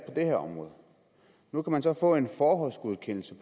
det her område nu kan man så få en forhåndsgodkendelse